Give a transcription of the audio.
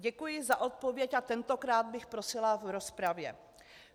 Děkuji za odpověď - a tentokrát bych prosila v rozpravě.